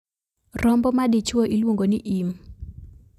Rombo madichuo iluongo ni im.